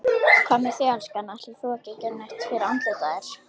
Hvað með þig, elskan. ætlar þú ekki að gera neitt fyrir andlitið á þér?